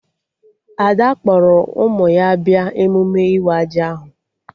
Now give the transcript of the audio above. Ada kpọrọ ụmụ ya bịa emume ịwa ji ahụ